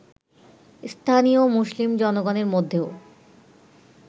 স্থানীয় মুসলিম জনগণের মধ্যেও